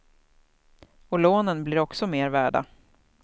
Och lånen blir också mer värda.